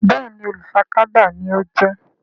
Béèni olú fà tábà ní o jé.